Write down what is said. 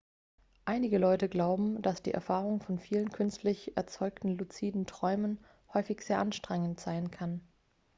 einige leute glauben dass die erfahrung von vielen künstlich erzeugten luziden träumen häufig sehr anstrengend sein kann